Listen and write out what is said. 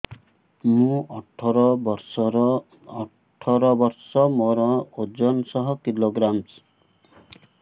ମୁଁ ଅଠର ବର୍ଷ ମୋର ଓଜନ ଶହ କିଲୋଗ୍ରାମସ